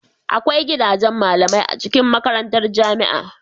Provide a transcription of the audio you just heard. Agwai gidajen malamai a cikin makarantar jamia